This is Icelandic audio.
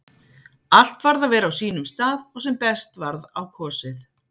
Allt varð að vera á sínum stað og sem best varð á kosið.